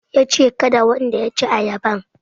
Yace kada wanda ya ci ayaban